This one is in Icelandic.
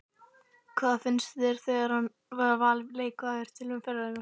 Hvað finnst þér um að hafa verið valin leikmaður umferðarinnar?